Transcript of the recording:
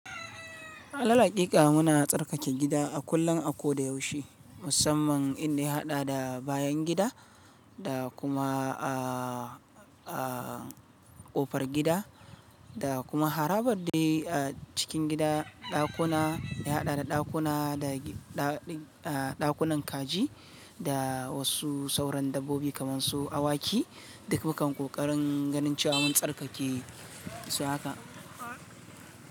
Alal hakika muna tsarkake gida a kullum, a ko da yaushe musamman inda ya haɗa da bayan gida da kuma a a ƙofar gida da kuma harabar dai a cikin gida, ɗakuna da ya haɗa da ɗakuna da ɗakunan kaji da wasu sauran dabbobi kamar su awaki. Duk mukan ƙoƙarin ganin cewa mun tsarkake su haka.